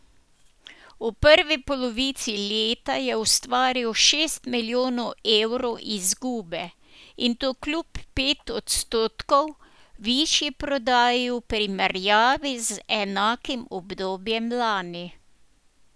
V prvi polovici leta je ustvaril šest milijonov evrov izgube in to kljub pet odstotkov višji prodaji v primerjavi z enakim obdobjem lani.